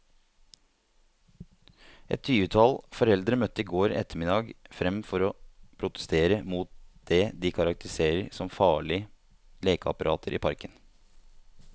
Et tyvetall foreldre møtte i går ettermiddag frem for å protestere mot det de karakteriserer som farlige lekeapparater i parken.